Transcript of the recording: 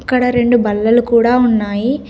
ఇక్కడ రెండు బల్లలు కూడా ఉన్నాయి.